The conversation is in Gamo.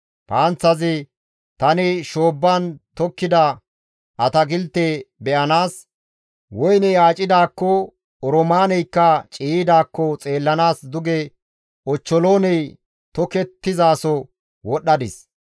«Tani shoobban tokettida atakilteta be7anaas, woyney aacidaakko, oroomaaneykka ciiyidaakko xeellanaas duge ochcholooney tokettizaso wodhdhadis.